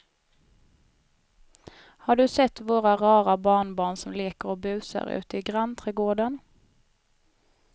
Har du sett våra rara barnbarn som leker och busar ute i grannträdgården!